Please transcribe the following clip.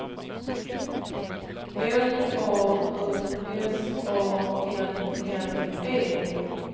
L A U S A N N E